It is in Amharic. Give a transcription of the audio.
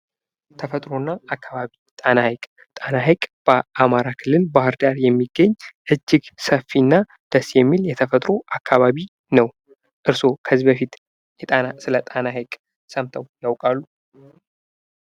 ተፈጥሮ እና አካባቢ ጣና ሃይቅ ።ጣና ሃይቅ በአማራ ክልል ባህርዳር የሚገኝ እጅግ ሰፊ እና ደስ የሚል የተፈጥሮ አካባቢ ነው። እርስዎ ከዚህ በፊት ስለጣና ሃይቅ ሰምተው ያውቃሉ?